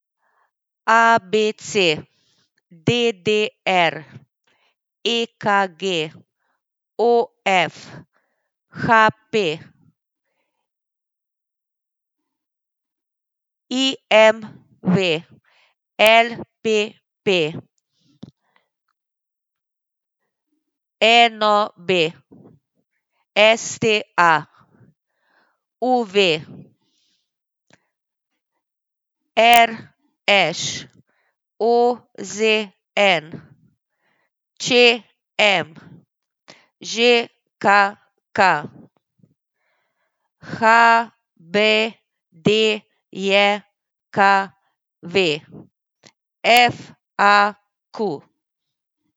A B C; D D R; E K G; O F; H P; I M V; L P P; N O B; S T A; U V; R Š; O Z N; Č M; Ž K K; H B D J K V; F A Q.